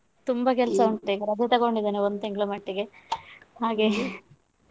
ತುಂಬಾ ಕೆಲ್ಸ ಉಂಟು ಈಗ ರಜೆ ತಗೊಂಡಿದ್ದೇನೆ ಈಗ ಒಂದು ತಿಂಗಳ ಮಟ್ಟಿಗೆ ಹಾಗೆ.